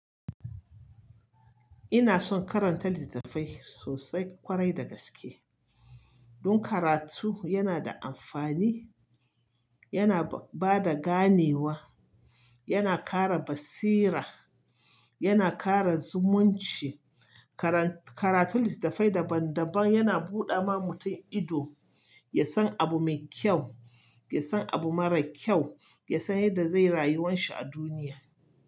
Ina son karanta littafai sosai kwarai da gaske. Don karatu yana da amfani, yana ba da ganewa, yana kara basira, yana kara zumunci. Karan- karatu littafai daban daban yana buɗe ma mutum ido, ya san abu mai kyau, ya san abu mara kyau, ya san yadda zai rayuwan shi a duniya.